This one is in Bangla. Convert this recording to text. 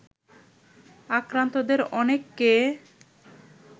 আক্রান্তদের অনেককে